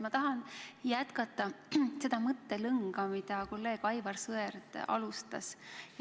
Ma tahan jätkata seda mõttelõnga, millega kolleeg Aivar Sõerd alustas.